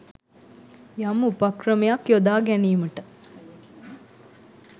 යම් උපක්‍රමයක් යොදා ගැනීමට